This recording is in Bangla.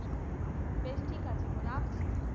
বেশ ঠিক আছে গো রাখছি।